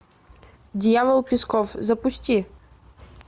дьявол песков запусти